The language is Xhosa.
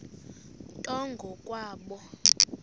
nto ngo kwabo